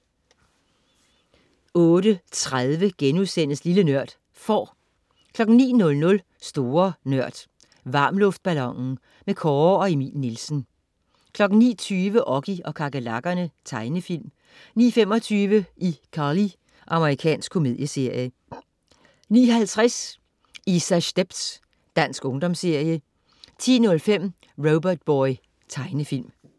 08.30 Lille Nørd.* Får 09.00 Store Nørd. Varmluftballonen. Kåre og Emil Nielsen 09.20 Oggy og kakerlakkerne. Tegnefilm 09.25 iCarly. Amerikansk komedieserie 09.50 Isas stepz. Dansk ungdomsserie 10.05 Robotboy. Tegnefilm